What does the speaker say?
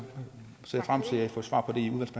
ser jeg frem til at få svar